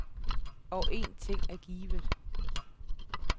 Og en ting er givet.